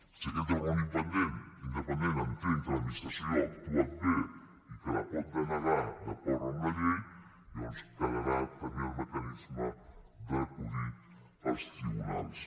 si aquest organisme independent entén que l’administració ha actuat bé i que la pot denegar d’acord amb la llei llavors quedarà també el mecanisme d’acudir als tribunals